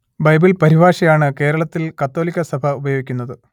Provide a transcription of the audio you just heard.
Bible പരിഭാഷ ആണ് കേരളത്തിൽ കത്തോലിക്കാ സഭ ഉപയോഗിക്കുന്നത്